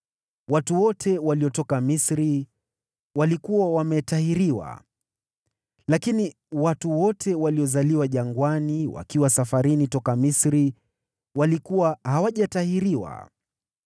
Watu wote waliotoka Misri walikuwa wametahiriwa, lakini watu wote waliozaliwa jangwani wakiwa safarini toka Misri walikuwa hawajatahiriwa.